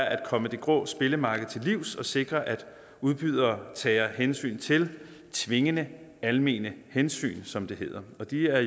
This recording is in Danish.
at komme det grå spillemarked til livs og sikre at udbydere tager hensyn til tvingende almene hensyn som det hedder og de er